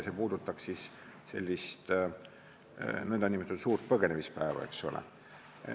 Jutt on nn suure põgenemise päevast, eks ole.